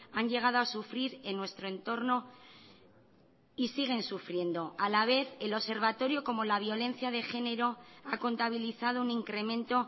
han llegado a sufrir en nuestro entorno y siguen sufriendo a la vez el observatorio como la violencia de género ha contabilizado un incremento